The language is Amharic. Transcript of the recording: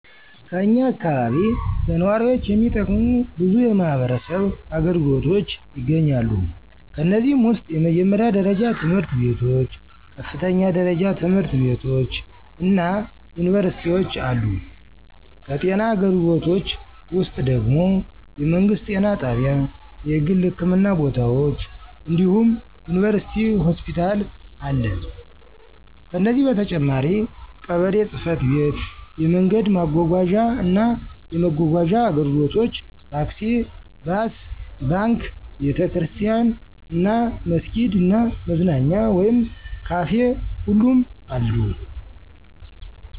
ከኛ አካባቢ ለነዋሪዎች የሚጠቅሙ በዙ የማህበረሰብ አገልግሎቶች ይገኛሉ። ከነዚህም ውስጥ የመጀመሪያ ደረጃ ትምህርት ቤቶች፣ ከፍተኛ ደረጃ ትምህርት ቤቶች እና ዩኒቨርሲቲዎች አሉ። ከጤና አገልግሎቶች ውስጥ ደግም የመንግስት ጤና ጣቢያ፣ የግል ህክምና ቦታዎች እንዲሁም ዩኒቨርሲቲ ሆስፒታል አለ። ከነዚህ በተጨማሪም ቀበሌ ጽ/ቤት፣ የመንገድ ማጓጓዣ እና መጓጓዣ አገልግሎቶች (ታክሲ፣ ባስ)፣ባንክ፣ ቤተ ክርስቲያን እና መስጊድ እና መዝናኛ ወይም ካፊ ሁሉም አሉ።